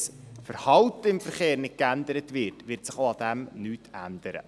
Wenn das Verhalten im Verkehr nicht geändert wird, wird sich auch daran nichts ändern.